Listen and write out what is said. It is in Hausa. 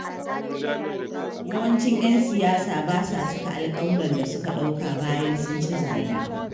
Yawancin ƴan siyasa ba sa cika alƙawuran da suka ɗauka bayan sun ci zaɓe.